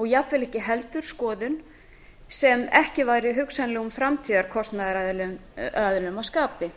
og jafnvel ekki heldur skoðun sem ekki væri hugsanlegum framtíðarkostunaraðilum að skapi